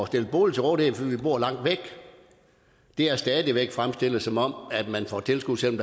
stillet bolig til rådighed fordi vi bor langt væk bliver stadig væk fremstillet som om man får tilskud selv